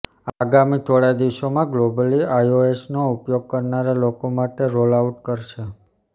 આગામી થોડા દિવસોમાં ગ્લોબલી આઈઓએસનો ઉપયોગ કરનારા લોકો માટે રોલઆઉટ કરશે